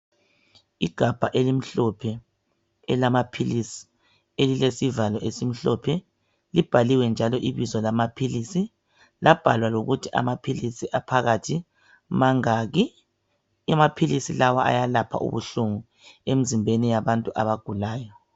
Igabha elimhlophe elamaphilisi elilesivalo esimhlophe . Libhaliwe njalo ibizo lamaphilisi labhalwa lokuthi amaphilisi aphakathi mangaki . Amaphilisi lawa ayalapha ubuhlungu emzimbeni yabantu abagulayo.